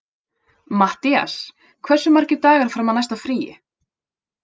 Mattías, hversu margir dagar fram að næsta fríi?